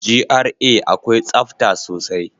GRA akwai tsafta sosai.